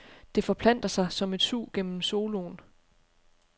Det forplanter sig som et sug gennem soloen.